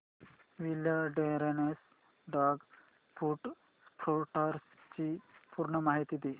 wilderness dog food products ची पूर्ण माहिती दे